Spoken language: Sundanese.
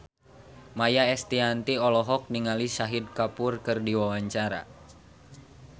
Maia Estianty olohok ningali Shahid Kapoor keur diwawancara